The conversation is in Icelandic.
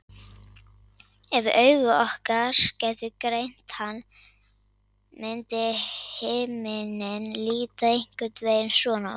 Ef augu okkar gætu greint hann myndi himinninn líta einhvern veginn svona út.